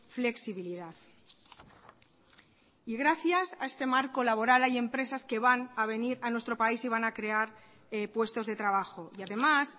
flexibilidad y gracias a este marco laboral hay empresas que van a venir a nuestro país y van a crear puestos de trabajo y además